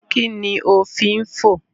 Kí ni o fín fò?